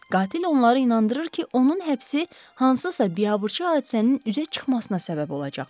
Qatil onları inandırır ki, onun həbsi hansısa biabırçı hadisənin üzə çıxmasına səbəb olacaq.